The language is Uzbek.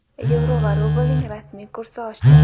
yevro va rublning rasmiy kursi oshdi.